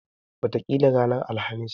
Wataƙila ranar Alhamis.